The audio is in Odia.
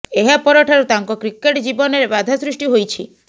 ଏହା ପରଠାରୁ ତାଙ୍କ କ୍ରିକେଟ୍ ଜୀବନରେ ବାଧା ସୃଷ୍ଟି ହୋଇଛି